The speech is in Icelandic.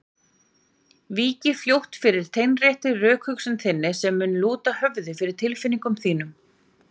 Víki fljótt fyrir teinréttri rökhugsun þinni sem mun lúta höfði fyrir tilfinningum þínum.